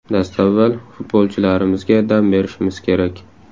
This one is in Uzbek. Dastavval, futbolchilarimizga dam berishimiz kerak.